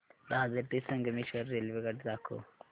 दादर ते संगमेश्वर रेल्वेगाडी दाखव